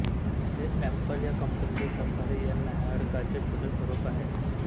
हे एपल या कंपनीच्या सफारी या न्याहाळकाचे छोटे स्वरूप आहे